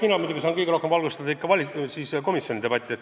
Mina muidugi saan kõige rohkem valgustada just komisjoni debatti.